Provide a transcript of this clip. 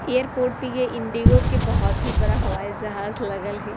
एयरपोर्ट पे ये इंडिगो के बहोत ही बड़ा हवाई जहाज लगल हे।